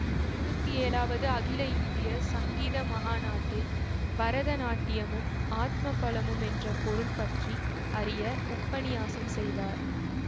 இருவத்தி ஏழாவது அகில இந்திய சங்கீத மகாநாட்டில் பரத நாட்டியமும் ஆத்ம பலமும் என்ற பொருள் பற்றி அரிய உபன்னியாசம் செய்தார்